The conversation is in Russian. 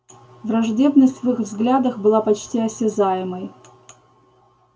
враждебность в их взглядах была почти осязаемой